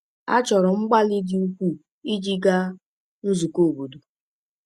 A chọrọ mgbalị dị ukwuu iji gaa nzukọ obodo.